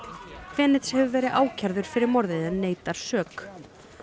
fenech hefur verið ákærður fyrir morðið en neitar sök